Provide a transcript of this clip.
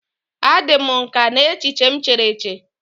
A dị m nkà n'echiche m chere eche.